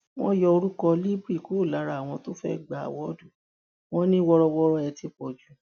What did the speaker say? wọn yọ orúkọ libre kúrò lára àwọn tó fẹẹ gba àwòdù wọn ní wọrọwọrọ ẹ ti pọ jù